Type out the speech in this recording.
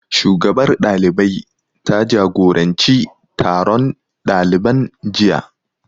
Shugabar ɗalibai ta jagoranci taron ɗaliban jiya